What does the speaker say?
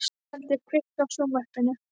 Íseldur, kveiktu á sjónvarpinu.